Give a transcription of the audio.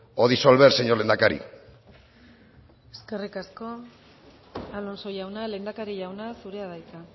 o disolver señor lehendakari eskerrik asko alonso jauna lehendakari jauna zurea da hitza